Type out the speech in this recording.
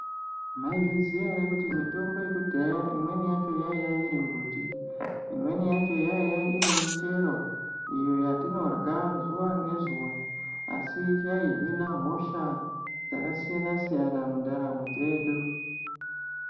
Maizviziya ere kuti mitombo yekudhaya imweni yacho yaiya irimbuti, imweni yacho yaiya iri michero iyo yatinorya zuwa ngezuwa asi yaihina hosha dzakasiyana siyana mundaramo dzedu.